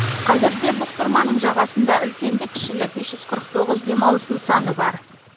қазірде бұқтырманың жағасында үлкенді кішілі бес жүз қырық тоғыз демалыс нысаны бар